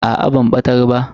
Aa ban batar ba.